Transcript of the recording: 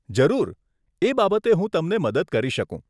જરૂર, એ બાબતે હું તમને મદદ કરી શકું.